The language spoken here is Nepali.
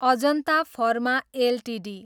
Ajanta pharma Ltd